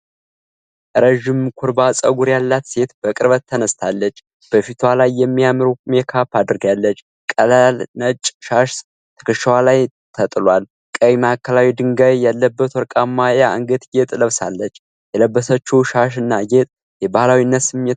ረዥም ኩርባ ጸጉር ያላት ሴት በቅርበት ተነስታለች፤ በፊቷ ላይ የሚያምር ሜካፕ አድርጋለች፣ ቀላል ነጭ ሻሽ ትከሻዋ ላይ ተጥሏል፣ ቀይ ማዕከላዊ ድንጋይ ያለበት ወርቃማ የአንገት ጌጥ ለብሳለች። የለበሰችው ሻሽ እና ጌጥ የባህላዊነት ስሜት ምን ያህል አለው?